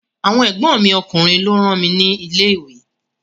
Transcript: Àwọn ègbón mi ọkùnrin lọ rán mi ni ilé ìwé